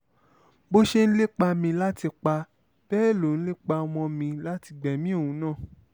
bó o ṣe ń lépa mi láti pa bẹ́ẹ̀ lò ń lépa ọmọ mi láti gbẹ̀mí òun náà